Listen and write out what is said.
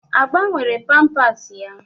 A gbanwere pampas ya?